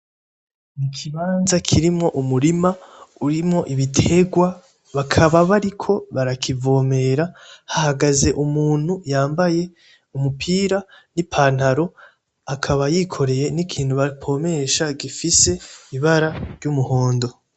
Ikibanza kirimwo umurima urimwo ibiterwa bakaba bariko barakivomera hahagaze umuntu yambaye umupira n'ipantaro akaba yikoreye n'ikintu bapompesha hifise ibara ry'umuhondo.